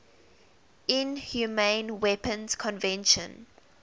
inhumane weapons convention